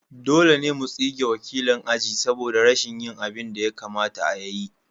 Dole ne mu tsige wakilin aji saboda rashin yin abin da ya kamata ya yi.